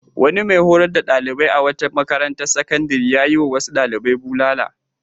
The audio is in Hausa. Wani mai horar da ɗalibai a wata makarantar sakandare ya yiwa wasu ɗalibai bulala.